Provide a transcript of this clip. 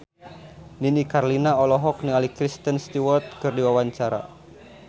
Nini Carlina olohok ningali Kristen Stewart keur diwawancara